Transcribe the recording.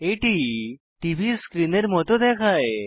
এটি টিভি স্ক্রীনের মত দেখায়